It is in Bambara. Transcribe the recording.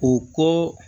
O ko